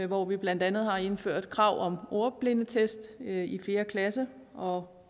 hvor vi blandt andet har indført krav om ordblindetest i fjerde klasse og